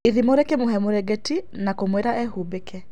Irimũ rĩkĩmũhe mũrengeti na kũmwĩra ehumbĩke.